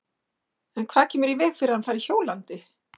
En hvað kemur í veg fyrir að hann fari hjólandi?